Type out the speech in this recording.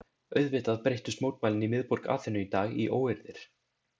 Auðvitað breyttust mótmælin í miðborg Aþenu í dag í óeirðir.